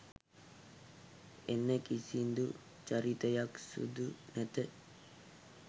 එන කිසිදු චරිතයක් සුදු නැත.